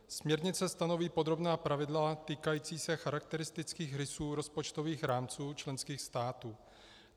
Směrnice stanoví podrobná pravidla týkající se charakteristických rysů rozpočtových rámců členských států.